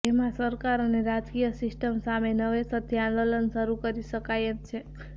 જેમાં સરકાર અને રાજકીય સિસ્ટમ સામે નવેસરથી આંદોલન શરૂ કરી શકાય એમ છે